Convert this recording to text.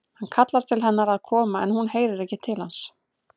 Hann kallar til hennar að koma en hún heyrir ekki til hans.